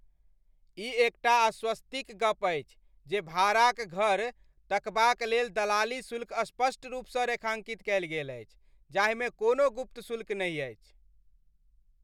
ई एकटा आश्वस्ति क गप्प अछि जे भाड़ा क घर तकबाक लेल दलाली शुल्क स्पष्ट रूपसँ रेखाङ्कित कयल गेल अछि जाहिमे कोनो गुप्त शुल्क नहि अछि।